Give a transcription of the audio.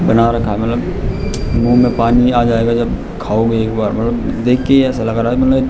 बना रखा है मतलब मुह में पानी आ जायेगा जब खाओगे एक बार मतलब देख के ही ऐसा लग रहा है मतलब --